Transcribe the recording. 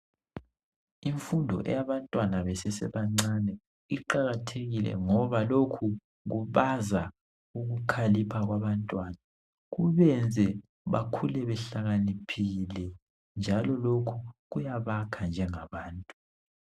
Imfundo eyabantwana besesebancane iqakathekile ngoba lokhu kwenza ukukhalipha kwabantwana kubenze bakhule behlakaniphile njalo lokhu kuyabakha njengabantu.